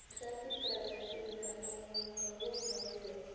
Trafik rach ahinya omiyo nyaka awuog mapiyo